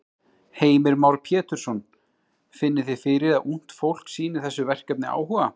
Heimir Már Pétursson: Finnið þið fyrir að ungt fólk sýnir þessu verkefni áhuga?